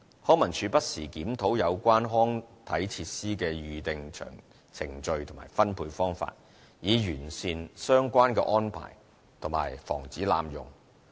康文署不時檢討有關康體設施的預訂程序及分配方法，以完善相關的安排及防止濫用。